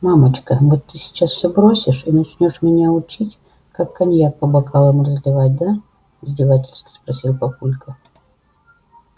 мамочка вот ты сейчас все бросишь и начнёшь меня учить как коньяк по бокалам разливать да издевательски спросил папулька